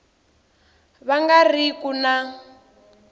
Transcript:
va nga ri ku na